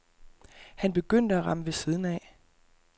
Han begyndte at ramme ved siden af.